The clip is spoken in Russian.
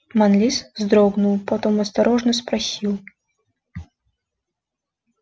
манлис вздрогнул потом осторожно спросил